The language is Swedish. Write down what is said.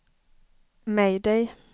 mayday